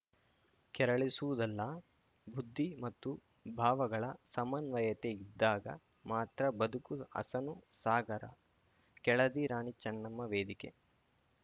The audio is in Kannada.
ಕೆರಳಿಸುವುದಲ್ಲ ಬುದ್ಧಿ ಮತ್ತು ಭಾವಗಳ ಸಮನ್ವಯತೆ ಇದ್ದಾಗ ಮಾತ್ರ ಬದುಕು ಹಸನು ಸಾಗರ ಕೆಳದಿರಾಣಿ ಚನ್ನಮ್ಮ ವೇದಿಕೆ